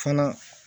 Fana